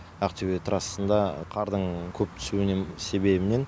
ақтөбе трассасында қардың көп түсуінің себебінен